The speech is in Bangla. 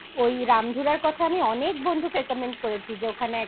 ওই রামধুরার কথা আমি অনেক বন্ধুকে recommend করেছি যে